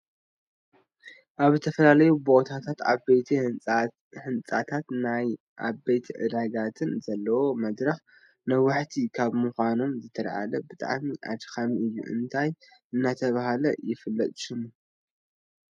ኣብ ዝተፈላለዩ ቦታታት ዓበይቲ ህንፃታትንናይ ዓበይቲ ዕዳጋታትን ዘለው መድረካት ነዋሕቲ ካብ ምኮኖም ዝተልዓለ ብጣዕሚ ኣድካሚ እዩ። እንታይ እናተባህ ይፍለጥ ሽሙ ?